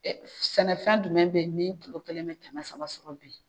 Sɛnɛfɛn jumɛn bɛ yen ni kulo kelen bɛ kɛmɛ saba sɔrɔ bi